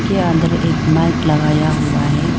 के अंदर एक माइक लगाया हुआ है।